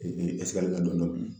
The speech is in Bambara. la dɔɔni dɔɔni